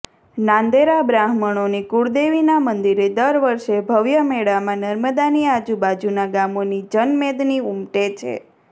નાંદેરા બ્રાહમણોની કૂળદેવી ના મંદીરે દર વર્ષે ભવ્ય મેળામા નર્મદાની આજુબાજુના ગામોની જનમેદની ઉમટે છે